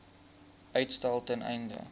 uitstel ten einde